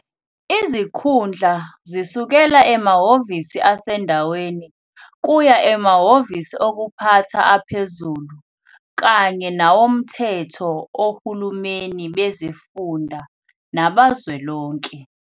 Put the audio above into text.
Izikhundla zisukela emahhovisi asendaweni kuya emahhovisi okuphatha aphezulu kanye nawomthetho ohulumeni bezifunda nabazwelonke.